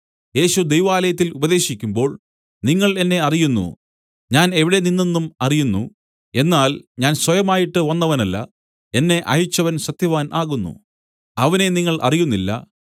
യേശു ദൈവാലയത്തിൽ ഉപദേശിക്കുമ്പോൾ നിങ്ങൾ എന്നെ അറിയുന്നു ഞാൻ എവിടെനിന്നെന്നും അറിയുന്നു എന്നാൽ ഞാൻ സ്വയമായിട്ട് വന്നവനല്ല എന്നെ അയച്ചവൻ സത്യവാൻ ആകുന്നു അവനെ നിങ്ങൾ അറിയുന്നില്ല